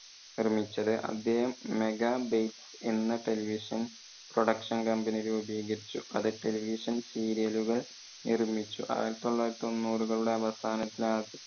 നിർമ്മിച്ചത്. അദ്ദേഹം mega bytes എന്ന television production company രൂപികരിച്ചു. അത് televisionserial കൾ നിർമിച്ചു. ആയിരത്തി തൊള്ളായിരത്തി തൊണ്ണൂറുകളുടെ അവസാനത്തിൽ